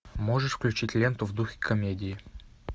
можешь включить ленту в духе комедии